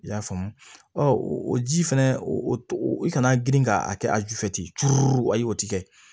I y'a faamu o ji fɛnɛ i kana girin ka a kɛ a ju fɛ ten ayi o ti kɛ